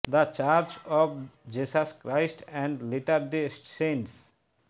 the Church of Jesus Christ and Latter Day saints